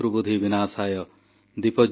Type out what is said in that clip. ଆପଣ ସମସ୍ତଙ୍କୁ ଦୀପାବଳିର ଅନେକ ଅନେକ ଶୁଭକାମନା